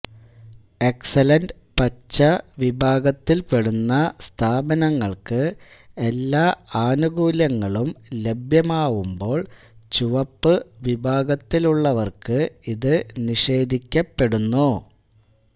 excellent പച്ച വിഭാഗത്തിൽപെടുന്ന സ്ഥാപനങ്ങൾക്ക് എല്ലാ ആനുകൂല്യങ്ങളും ലഭ്യമാവുമ്പോൾ ചുവപ്പ് വിഭാഗത്തിലുളളവർക്ക് ഇത് നിഷേധിക്കപ്പെടുന്നു